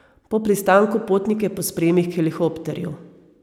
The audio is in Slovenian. Po pristanku potnike pospremi k helikopterju.